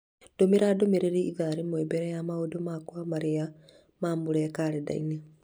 ndũmĩra ndũmĩrĩri ĩthaa rĩmwe mbere ya maũndũ makwa marĩa marũmĩrĩire kalendarĩ